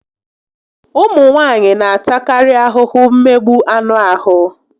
Ụmụ nwaanyị n'atakarị ahụhụ mmegbu anụ ahụ